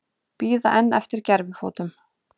Bíða enn eftir gervifótum